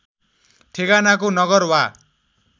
ठेगानाको नगर वा